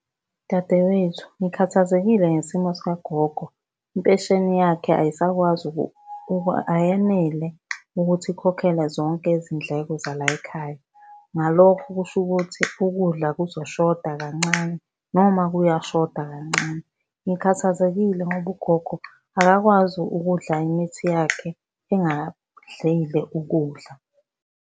Dadewethu, ngikhathazekile ngesimo sikagogo, impesheni yakhe ayisakwazi ayenele ukuthi ikhokhele zonke izindleko zalayikhaya. Ngalokho kusho ukuthi ukudla kuzoshoda kancane, noma kuyashoda kancane. Ngikhathazekile ngoba ugogo akakwazi ukudla imithi yakhe engadlile ukudla.